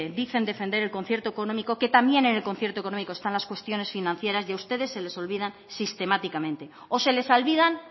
dicen defender el concierto económico que también en el concierto económico están las cuestiones financieras y a ustedes se les olvida sistemáticamente o se les olvidan